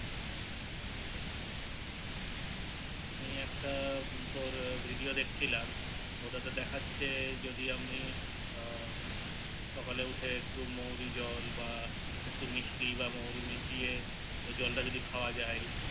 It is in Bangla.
দিয়ে একটা তোর Video দেখছিলাম ওটাতে দেখাচ্ছে যদি আমি ও সকালে উঠে একটু মোহরী জল বা একটু মিশরী বা মোহরী মিশিয়ে ওই জল টা যদি খাওয়া যায়